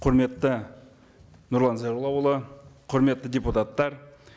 құрметті нұрлан зайроллаұлы құрметті депутаттар